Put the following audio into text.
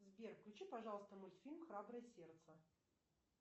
сбер включи пожалуйста мультфильм храброе сердце